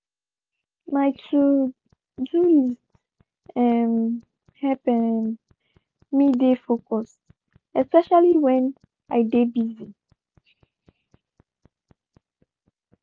my to-do list um help um me dey focused especially went dey de busy.